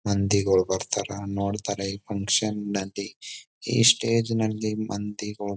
ಮಂದಿಗಳು ಬರತರ್ ನೋಡತರ್ ಈ ಫಕ್ಷನ್ ನಲ್ಲಿ. ಈ ಸ್ಟೇಜ್ ನಲ್ಲಿ ಮಂದಿಗೊಳ --